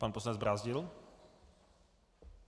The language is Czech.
Pan poslanec Brázdil.